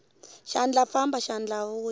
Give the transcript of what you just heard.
xandla famba xandla vuya